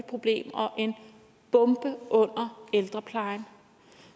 problem og en bombe under ældreplejen